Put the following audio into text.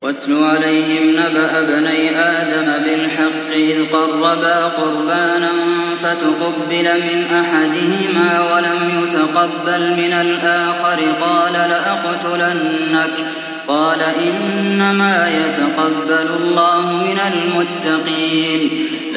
۞ وَاتْلُ عَلَيْهِمْ نَبَأَ ابْنَيْ آدَمَ بِالْحَقِّ إِذْ قَرَّبَا قُرْبَانًا فَتُقُبِّلَ مِنْ أَحَدِهِمَا وَلَمْ يُتَقَبَّلْ مِنَ الْآخَرِ قَالَ لَأَقْتُلَنَّكَ ۖ قَالَ إِنَّمَا يَتَقَبَّلُ اللَّهُ مِنَ الْمُتَّقِينَ